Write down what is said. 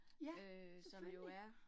Ja, selvfølgelig